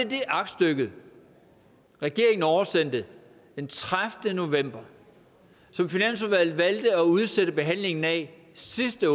det aktstykke regeringen oversendte den tredivete november som finansudvalget valgte at udsætte behandlingen af sidste